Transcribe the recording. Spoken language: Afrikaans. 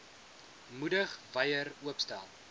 moedig wyer oopstel